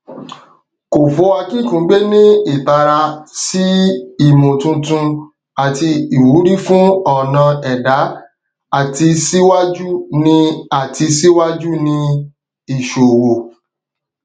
kòfó akínkùgbé ní ìtara sí ìmòtuntun àti ìwúrí fún ọnà ẹdá àti síwájú ní àti síwájú ní ìṣowó